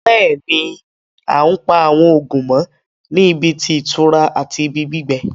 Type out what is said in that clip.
Bẹ́ẹ̀ni, àn pa awọn oogun mọ̀ ní ìbí tí itura àti ìbí gbígbẹ̀